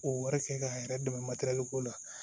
O wɛrɛ kɛ k'a yɛrɛ dɛmɛ matɛrɛliko la